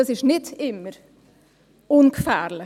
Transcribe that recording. Das ist nicht immer ungefährlich.